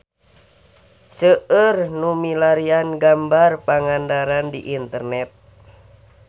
Seueur nu milarian gambar Pangandaran di internet